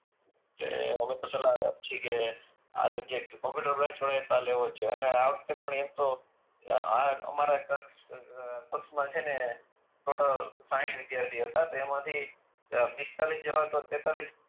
એ અમે તો સલાહ છીએ કે કોમ્પ્યુટર બ્રાંચ અને આ વખત એ એમ પણ એમ તો અમારા કક્ષમાં છે ને ટોટલ સાહીઠ વિદ્યાર્થી હતા તેમાં થી પીસ્તાલીશ જેવા તો તેતાલીશ